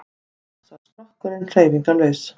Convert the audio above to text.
Loks varð skrokkurinn hreyfingarlaus.